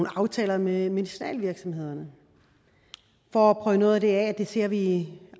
aftaler med medicinalvirksomhederne for at prøve noget af det af det ser vi